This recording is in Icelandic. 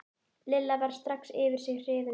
Lilla varð strax yfir sig hrifin.